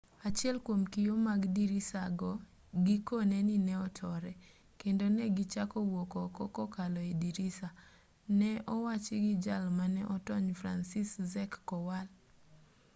achiel kwom kio mag dirisa go gikone ni ne otore kendo ne gichako wuok oko kokalo e dirisa ne owachi gi jal mane otony franciszek kowal